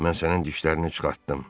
Mən sənin dişlərini çıxartdım.